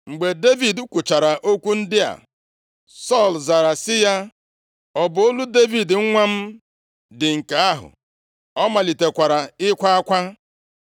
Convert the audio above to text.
Mgbe Devid kwuchara okwu ndị a, Sọl zara sị ya, “Ọ bụ olu Devid nwa m dị nke ahụ?” Ọ malitekwara ịkwa akwa.